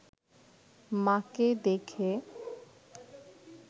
মা’কে দেখে